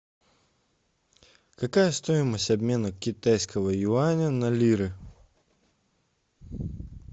какая стоимость обмена китайского юаня на лиры